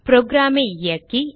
program ஐ இயக்கி